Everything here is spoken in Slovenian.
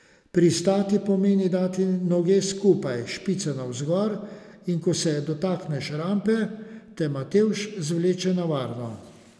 Pristati pomeni dati noge skupaj, špice navzgor, in ko se dotakneš rampe, te Matevž zvleče na varno.